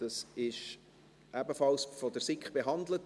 Dies wurde ebenfalls von der SiK behandelt.